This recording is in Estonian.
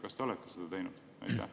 Kas te olete seda teinud?